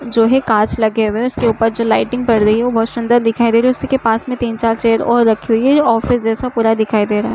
जो है कांच लगे हुए हैं उसके ऊपर जो लाइटिंग पड़ रही है वो बहोत सुन्दर दिखाई दे रही है उसी के पास तीन चार चेयर और रखी हई है। ये ऑफिस जैसा पूरा दिखाई दे रहा है।